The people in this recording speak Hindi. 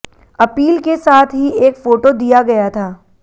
अपील के साथ ही एक फोटो दिया गया था